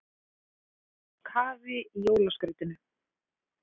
Í votlendi rotnar gróður ekki og því geymir hann í sér gróðurhúsalofttegundir.